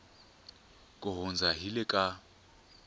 ku hundza hi le ka